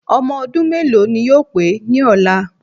Ọmọ ọdún méèló ni yóò pé ní ọ̀la